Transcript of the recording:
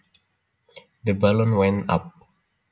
The balloon went up